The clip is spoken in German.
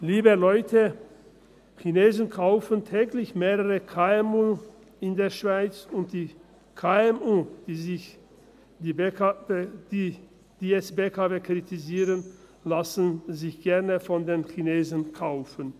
Liebe Leute, Chinesen kaufen täglich mehrere KMU in der Schweiz, und die KMU, die jetzt die BKW kritisieren, lassen sich gerne von den Chinesen kaufen.